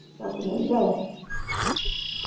ਮਹਿੰਗਾ ਏ